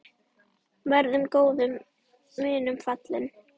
Verður góðum vinum falinn.